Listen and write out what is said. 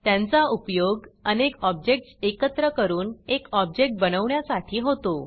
त्यांचा उपयोग अनेक ऑब्जेक्टस एकत्र करून एक ऑब्जेक्ट बनवण्यासाठी होतो